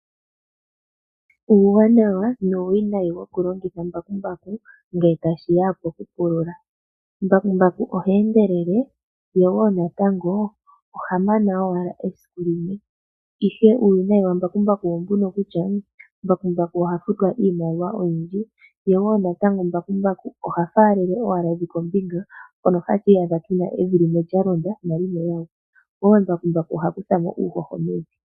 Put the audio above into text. Uuwanawa nuuwinayi wokulongitha embakumbaku ngele tashiya pokupulula. Mbakumbaku ohe endelele ye woo natango oha mana owala esiku limwe. Ihe uuwinayi wambakumbaku oombuno kutya mbakumbaku oha futwa iimaliwa oyindji, ye woo natango mbakumbaku oha faalele owala evi kombinga mpono hatu iyadha tuna evi limwe lya londa nalimwe woo. Oombakumbaku ohadhi fala uuhoho mevi.